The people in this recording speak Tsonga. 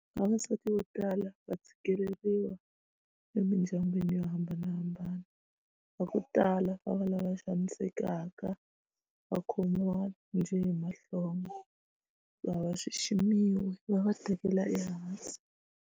Vavasati vo tala va tshikeleriwa emindyangwini yo hambanahambana va ku tala va va lava xanisekaka va khomiwa njhe hi mahlonga a va xiximiwa va va tekela ehansi.